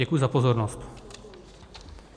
Děkuji za pozornost.